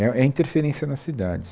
É é a interferência na cidade.